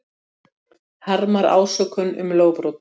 Gummi, lækkaðu í hátalaranum.